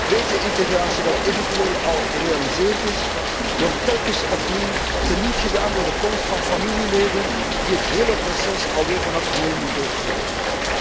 Het beetje integratie dat eventueel al gerealiseerd is, wordt telkens opnieuw teniet gedaan door de komst van familieleden die het hele proces alweer vanaf nul moeten beginnen.